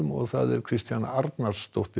Kristjana Arnarsdóttir